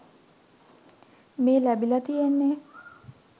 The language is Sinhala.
මේ ලැබිලා තියෙන්නේ.